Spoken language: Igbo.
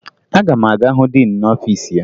Aga m aga hụ diin n'ọfiisi ya